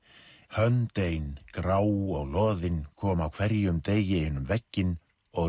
hönd ein grá og loðin kom á hverjum degi inn um vegginn og